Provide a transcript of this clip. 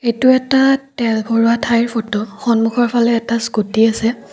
এইটো এটা তেল ভৰোৱা ঠাইৰ ফটো সন্মুখৰফালে এটা স্কুটি আছে।